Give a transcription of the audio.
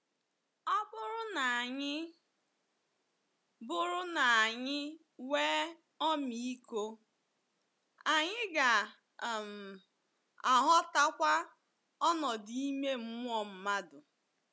Ọ bụrụ na anyị bụrụ na anyị nwee ọmịiko, anyị ga um - aghọtakwa ọnọdụ ime mmụọ mmadụ.